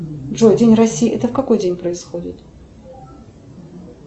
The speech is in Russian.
джой день россии это в какой день происходит